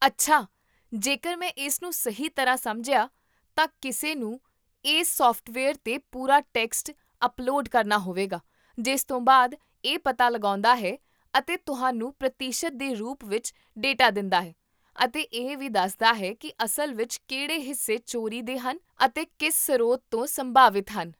ਅੱਛਾ, ਜੇਕਰ ਮੈਂ ਇਸਨੂੰ ਸਹੀ ਤਰ੍ਹਾਂ ਸਮਝਿਆ, ਤਾਂ ਕਿਸੇ ਨੂੰ ਇਸ ਸੌਫਟਵੇਅਰ 'ਤੇ ਪੂਰਾ ਟੈਕਸਟ ਅਪਲੋਡ ਕਰਨਾ ਹੋਵੇਗਾ, ਜਿਸ ਤੋਂ ਬਾਅਦ ਇਹ ਪਤਾ ਲਗਾਉਂਦਾ ਹੈ ਅਤੇ ਤੁਹਾਨੂੰ ਪ੍ਰਤੀਸ਼ਤ ਦੇ ਰੂਪ ਵਿੱਚ ਡੇਟਾ ਦਿੰਦਾ ਹੈ, ਅਤੇ ਇਹ ਵੀ ਦੱਸਦਾ ਹੈ ਕੀ ਅਸਲ ਵਿੱਚ ਕਿਹੜੇ ਹਿੱਸੇ ਚੋਰੀ ਦੇ ਹਨ ਅਤੇ ਕਿਸ ਸਰੋਤ ਤੋਂ ਸੰਭਾਵਿਤ ਹਨ